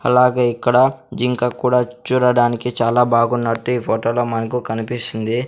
అలాగే ఇక్కడ జింక కూడా చూడడానికి చాలా బాగున్నట్టు ఈ ఫోటో లో మనకు కనిపిస్తుంది.